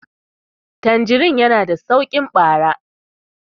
tanjirin yana da sauki bara